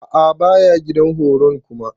A'a baya gidan horon kuma.